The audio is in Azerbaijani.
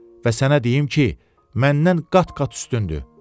və sənə deyim ki, məndən qat-qat üstündür.